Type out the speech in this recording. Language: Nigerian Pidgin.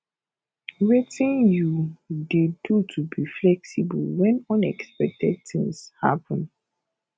wetin you dey do to be flexible when unexpected things happen